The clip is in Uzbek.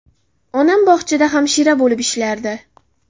Onam bog‘chada hamshira bo‘lib ishlardi.